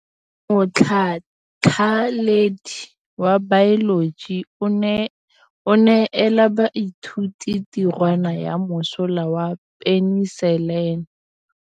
Motlhatlhaledi wa baeloji o neela baithuti tirwana ya mosola wa peniselene.